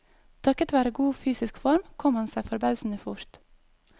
Takket være god fysisk form kom han seg forbausende fort.